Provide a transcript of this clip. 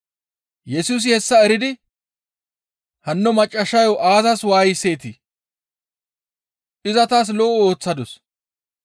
Yesusi hessa eridi, «Hanno maccassayo aazas waayiseetii? Iza taas lo7o ooththadus.